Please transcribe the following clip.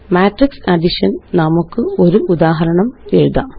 matrix addition നമുക്ക് ഒരു ഉദാഹരണമെഴുതാം